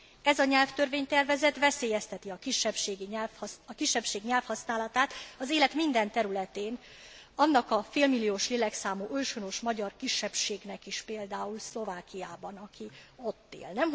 Ez a nyelvtörvény tervezet veszélyezteti a kisebbség nyelvhasználatát az élet minden területén, annak a félmilliós lélekszámú őshonos magyar kisebbségnek is például Szlovákiában, aki ott él.